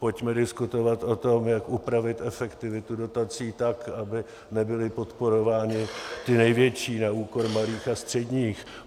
Pojďme diskutovat o tom, jak upravit efektivitu dotací tak, aby nebyli podporováni ti největší na úkor malých a středních.